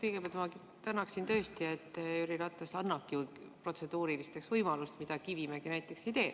Kõigepealt ma tänan tõesti, et Jüri Ratas annabki protseduurilisteks võimaluse, mida Kivimägi näiteks ei tee.